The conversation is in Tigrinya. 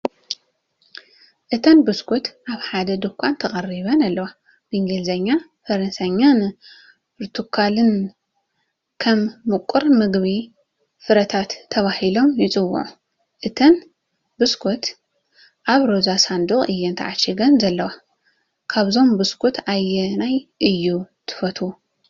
እተን ቢስኩት ኣብ ሓደ ድኳን ተቐሪበን ኣለዋ። ብእንግሊዝኛ፣ ፈረንሳይን ፖርቱጓልን ከም ምቁር ምግቢ ፍረታት ተባሂሎም ይጽውዑ። እተን ቢስኩት ኣብ ሮዛ ሳንዱቕ እየን ተዓሺገን ዘለዋ። ካብዞም ቢስኩት ኣየናይ እዩ ትፈትው?